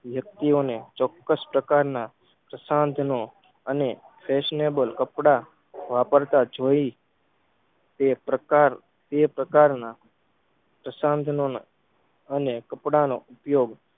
વ્યક્તિઓને ચોક્સ પ્રકારના પ્રશાંત નો અને fashionable કપડાં વાપરતા જોઈ તેપ્રકાર તેપ્રકારના પ્રશાન્તનોના અને કપડાનો ઉપયોગ